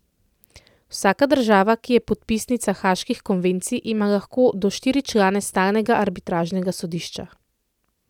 Vsaka država, ki je podpisnica haaških konvencij, ima lahko do štiri člane stalnega arbitražnega sodišča.